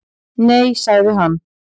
Nei, sagði hann.